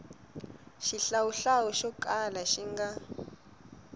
xihlawuhlawu xo kala xi nga